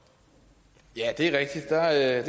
at